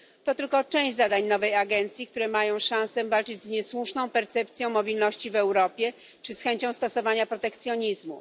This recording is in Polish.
To tylko część zadań nowej agencji, które mają szansę walczyć z niesłuszną percepcją mobilności w Europie czy z chęcią stosowania protekcjonizmu.